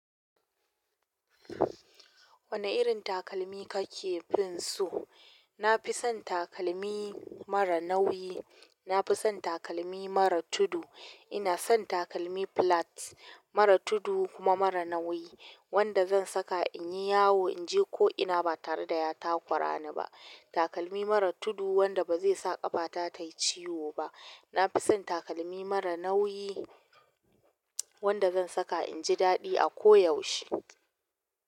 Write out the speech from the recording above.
Wani irin takalmi kake fin so? Na fi son takalmi mara nauyi. Na fi son takalmi mara tudu. Ina son takalmi plat, mara tudu kuma mara nauyi wanda zan saka in yi yawo, in je ko ina ba tare da ya takura ni ba. Takalmi mara tudu wanda ba zai sa ƙafata ta yi ciwo ba. Na fi son takalmi mara nauyi wanda zan saka in ji daɗi a ko yaushe.